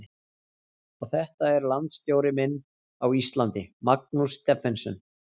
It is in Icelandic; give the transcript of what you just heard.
Og þetta er landsstjóri minn á Íslandi, Magnús Stephensen.